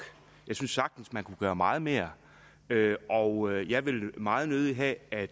jeg synes sagtens man kunne gøre meget mere og jeg vil meget nødig have at